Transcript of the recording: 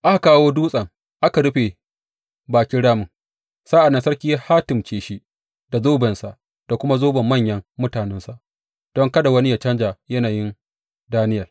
Aka kawo dutsen aka rufe bakin ramin, sa’an nan sarki ya hatimce shi da zobensa da kuma zoban manyan mutanensa, don kada wani yă canja yanayin Daniyel.